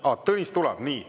Aa, Tõnis tuleb.